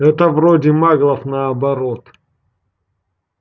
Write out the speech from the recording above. это вроде маглов наоборот